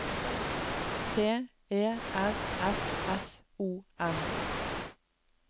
P E R S S O N